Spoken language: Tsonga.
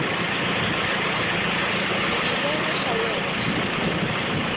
xivilelo xa wena xi ri